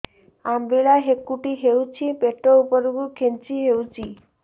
ଅମ୍ବିଳା ହେକୁଟୀ ହେଉଛି ପେଟ ଉପରକୁ ଖେଞ୍ଚି ହଉଚି